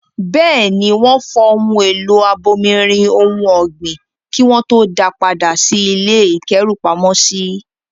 Bẹ́ẹ̀ ni, wọ́n fọ ohun èlò abomirin ohun ọ̀gbìn kí wọ́n tó da padà sí ilé ìkẹ́rùpamọ́sí.